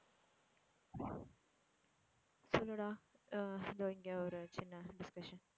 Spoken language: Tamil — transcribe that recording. சொல்லு டா எர் இதோ இங்க ஒரு சின்ன discussion